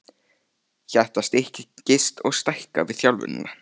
Hjartað styrkist og stækkar við þjálfunina.